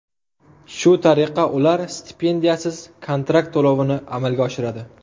Shu tariqa ular stipendiyasiz kontrakt to‘lovini amalga oshiradi.